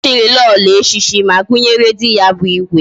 Echiri Lolo echichi, ma gunyere di ya bu igwe